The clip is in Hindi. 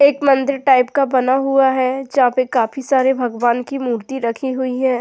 एक मंदिर टाइप का बना हुआ है जहां पर काफी सारे भगवान की मूर्ति रखी हुई है।